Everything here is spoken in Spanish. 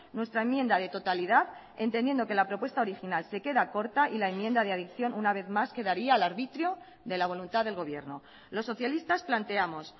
nuestra enmienda de totalidad entendiendo que la propuesta original se queda corta y la enmienda de adicción una vez más quedaría al arbitrio de la voluntad del gobierno los socialistas planteamos